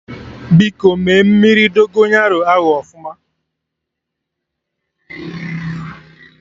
Biko mee mmiri Dogonyaro ahụ ọfụma